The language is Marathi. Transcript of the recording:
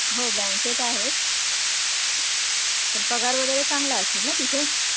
हो bank त आहे, पण पगार वैगरे चांगला असेल ना तिथे